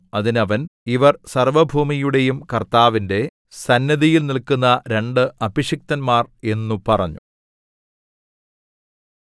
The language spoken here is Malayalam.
അതിന് അവൻ ഇവർ സർവ്വഭൂമിയുടെയും കർത്താവിന്റെ സന്നിധിയിൽ നില്ക്കുന്ന രണ്ട് അഭിഷിക്തന്മാർ എന്നു പറഞ്ഞു